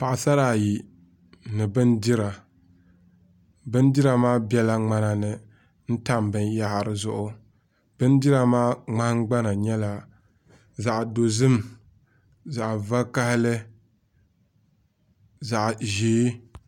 Paɣasara ayi ni bindira bindira maa biɛla ŋmana ni n tam binyahari zuɣu bindira maa nahangbana nyɛla zaɣ dozim zaɣ vakaɣali zaɣ ʒiɛ